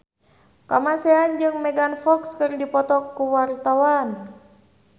Kamasean jeung Megan Fox keur dipoto ku wartawan